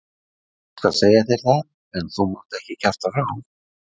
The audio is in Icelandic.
Ég skal segja þér það, en þú mátt ekki kjafta frá.